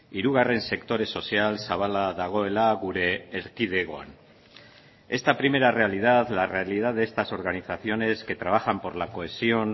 hirugarren sektore sozial zabala dagoela gure erkidegoan esta primera realidad la realidad de estas organizaciones que trabajan por la cohesión